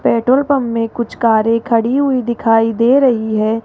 Petrol pump में कुछ कारे खड़ी हुई दिखाई दे रही है।